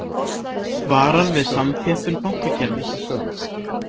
Varar við samþjöppun bankakerfis